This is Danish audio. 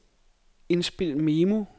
indspil memo